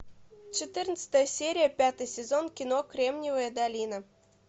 четырнадцатая серия пятый сезон кино кремниевая долина